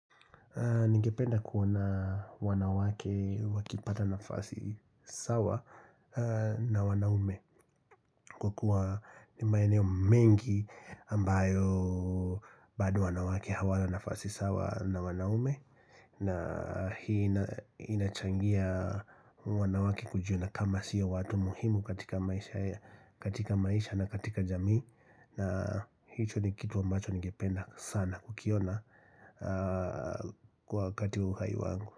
Nigependa kuona wanawake wakipata nafasi sawa na wanaume kwa kuwa ni maeneo mengi ambayo bado wanawake hawana nafasi sawa na wanaume na hii inachangia wanawake kujiona kama sio watu muhimu katika maisha na katika jamii na hicho ni kitu ambacho ningependa sana kukiona kwa wakati wa uhai wangu.